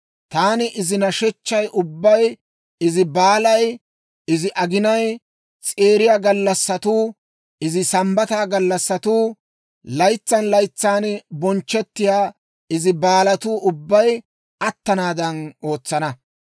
Taani izi nashechchay ubbay, izi baalay, izi aginay s'eeriya gallassatuu, izi Sambbata gallassatuu, laytsan laytsan bonchchettiyaa izi baalatuu ubbay attanaadan, ootsana.